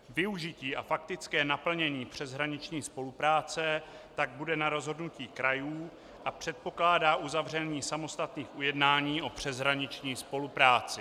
Využití a faktické naplnění přeshraniční spolupráce tak bude na rozhodnutí krajů a předpokládá uzavření samostatných ujednání o přeshraniční spolupráci.